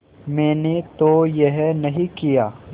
मैंने तो यह नहीं किया